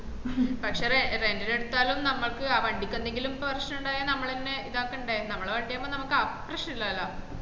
പക്ഷേ rent ന് എടുത്താലും നമ്മക്ക് ആ വണ്ടിക്ക് എന്തെങ്കിലും പ്രശ്നം ഉണ്ടായ നമ്മള് തന്നെ ഇത്താക്കണ്ടേ നമ്മള വണ്ടി ആവുമ്പൊ നമ്മക്ക് ആപ്രശനം ഇല്ലാലോ